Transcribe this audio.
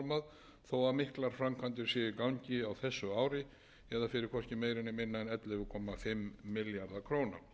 að miklar framkvæmdir ef í gangi á þessu ári eða fyrir hvorki meira né minna en ellefu komma fimm milljarða króna